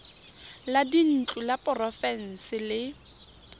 la dintlo la porofense le